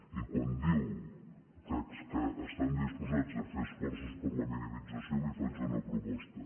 i quan diu que estan disposats a fer esforços per a la minimització li faig una proposta